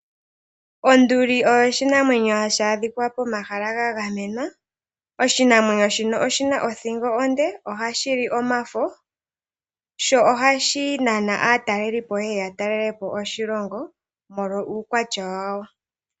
Onduli oyo oshinamwenyo hashi adhika pomahala ga gamenwa. Oshinamwenyo shino oshi na othingo onde. Ohashi li omafo ,sho ohashi nana aatalelipo ye ye ya talele po oshilongo molwa uukwatya washo.